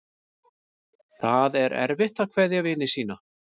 Það er erfitt að kveðja vini sína.